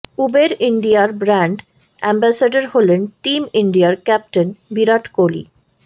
Uber ইন্ডিয়ার brand ambassador হলেন team ইন্ডিয়ার ক্যাপ্টেন বিরাট কোহলি